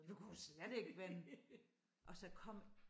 Vi kunne slet ikke vende og så kom